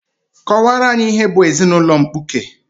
Kọwaara anyị ihe bụ ezinaụlọ mkpuke!